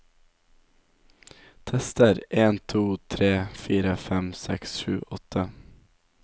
Tester en to tre fire fem seks sju åtte